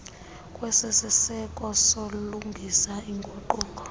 kwesiseko sobulungisa iinguquko